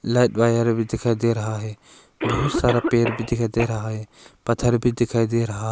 Black wire भी दिखाई दे रहा है बहुत सारा पेर भी दिखाई दे रहा है। पत्थर भी दिखाई दे रहा--